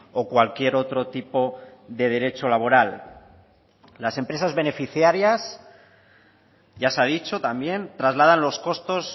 vacaciones o cualquier otro tipo de derecho las empresas beneficiarias ya se ha dicho también trasladan los costos